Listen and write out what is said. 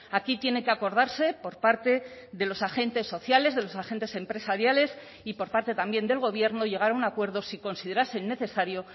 aquí tiene que acordarse por parte de los agentes sociales de los agentes empresariales y por parte también del gobierno llegar a un acuerdo si considerasen necesario